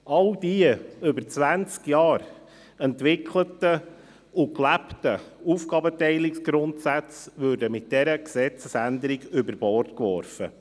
All die über zwanzig Jahre entwickelten und gelebten Aufgabenteilungsgrundsätze würden mit dieser Gesetzesänderung über Bord geworfen.